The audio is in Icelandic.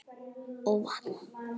Og vakna!